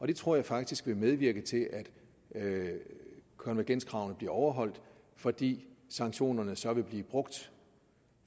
det tror jeg faktisk vil medvirke til at at konvergenskravene bliver overholdt fordi sanktionerne så vil blive brugt